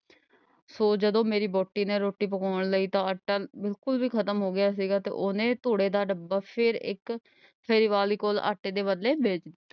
ਫੇਰ ਜਦੋਂ ਮੇਰੀ ਵਹੁਟੀ ਨੇ ਰੋਟੀ ਪਕਾਉਣ ਲਈ ਤਾਂ ਆਟਾ ਬਿਲਕੁੱਲ ਵੀ ਖ਼ਤਮ ਹੋ ਗਿਆ ਸੀਗਾ ਤੇ ਉਹਨੇ ਧੂੜੇ ਦਾ ਡੱਬਾ ਫੇਰ ਇੱਕ ਸੇਲ ਵਾਲੀ ਕੋਲ ਆਟੇ ਦੇ ਬਦਲੇ ਵੇਚ ਦਿੱਤਾ।